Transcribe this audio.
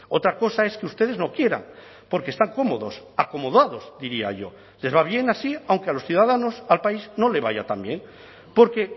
otra cosa es que ustedes no quieran porque están cómodos acomodados diría yo les va bien así aunque a los ciudadanos al país no le vaya también porque